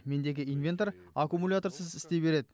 мендегі инвентор аккумуляторсыз істей беред